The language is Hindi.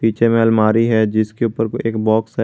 पीछे में अलमारी है जिसके ऊपर एक बॉक्स है।